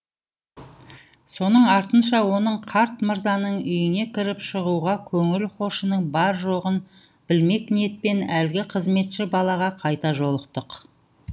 соның артынша оның қарт мырзаның үйіне кіріп шығуға көңіл хошының бар жоғын білмек ниетпен әлгі қызметші балаға кайта жолықты